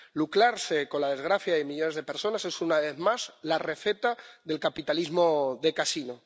Lucrarse con la desgracia de millones de personas es, una vez más, la receta del capitalismo de casino.